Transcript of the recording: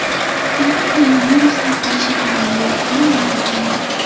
Xitoyda koronavirus tarqalishi kamayayotgani ma’lum qilindi.